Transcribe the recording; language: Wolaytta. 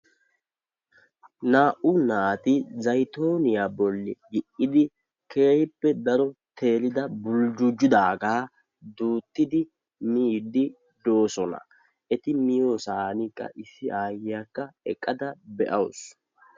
Naa"u naati zaytooniya bolli gi"idii keehippe daro teerida buljjujjidaagaa duuttidi miiddi de'oosona. Eti miyosan qassi aayyiyakka eqqada be'awusu.